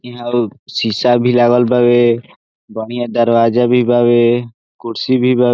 इहाँ अउर शीशा भी लागल बावे बढ़िया दरवाजा भी बावे कुर्सी भी बावे।